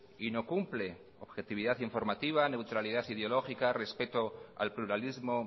y no cumple objetividad informativa neutralidad ideológica respeto al pluralismo